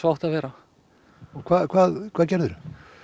átti að vera og hvað hvað hvað gerðirðu